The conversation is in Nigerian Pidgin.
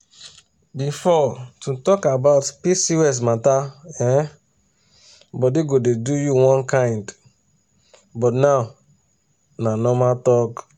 before to talk about pcos matter[um]body go dey do you one kind but now na normal talk.